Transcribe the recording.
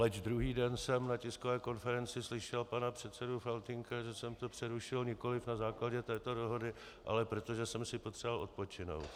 Leč druhý den jsem na tiskové konferenci slyšel pana předsedu Faltýnka, že jsem to přerušil nikoliv na základě této dohody, ale protože jsem si potřeboval odpočinout.